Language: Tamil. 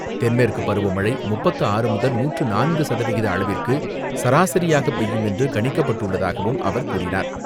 தென்மேற்கு பருவமழை முப்பத்து ஆறு முதல் நூற்று நான்கு சதவிகித அளவிற்கு சராசரியாக பெய்யும் என்று கணிக்கப்பட்டுள்ளதாகவும் அவர் கூறினார்.